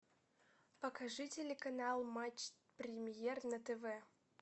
покажи телеканал матч премьер на тв